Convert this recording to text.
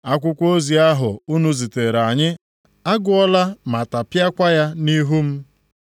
Akwụkwọ ozi ahụ unu zitere anyị, agụọla ma tapịakwaa ya nʼihu m.